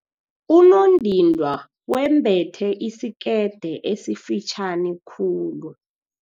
Unondindwa wembethe isikete esifitjhani khulu.